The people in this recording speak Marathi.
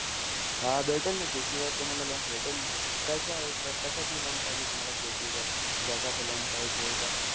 हा भेटेल न, शेतीवर तुम्हाला loan भेटेल न. कशाय कशाची loan पाहिजे तुम्हाला शेतीवर? जगाचं पाहिजे का?